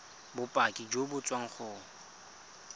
bopaki jo bo tswang go